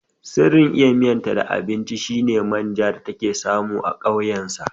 Sirrin iya miyan ta da abunci shine manjan da take samu a ƙauyen sa